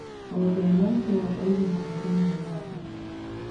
Ng'ombe ĩno nĩyo ndaihu muno thĩiniĩ wa thĩ.